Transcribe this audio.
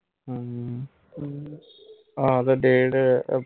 ਹਮ ਹਮ ਆਹ ਤੇ ਡੇਢ